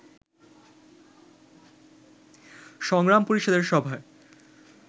সংগ্রাম পরিষদের সভায়